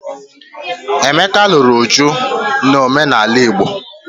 Emeka lụrụ Uju n'omenala Igbo.